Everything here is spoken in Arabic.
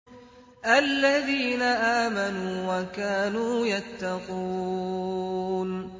الَّذِينَ آمَنُوا وَكَانُوا يَتَّقُونَ